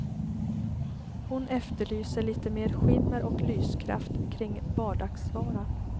Hon efterlyser lite mer skimmer och lyskraft kring vardagsvaran.